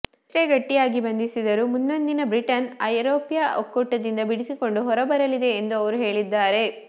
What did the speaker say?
ಎಷ್ಟೇ ಗಟ್ಟಿಯಾಗಿ ಬಂಧಿಸಿದರೂ ಮುಂದೊಂದು ದಿನ ಬ್ರಿಟನ್ ಐರೊಪ್ಯ ಒಕ್ಕೂಟದಿಂದ ಬಿಡಿಸಿಕೊಂಡು ಹೊರಬರಲಿದೆ ಎಂದು ಅವರು ಹೇಳಿದ್ದಾರೆ